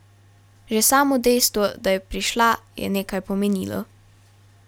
Že samo dejstvo, da je prišla, je nekaj pomenilo.